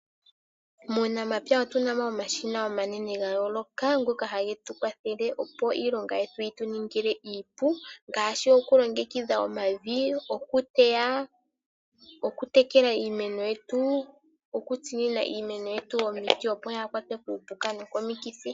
Muunamapya otu namo omashina omanene ga yooloka ngoka hage tu kwathele opo iilonga yetu yi tuningile iipu, ngaashi oku longekidha omavi, oku teya, oku tekela iimeno yetu, okutsinina iimeno yetu omiti opo yaa kwatwe kuupuka no komikithi.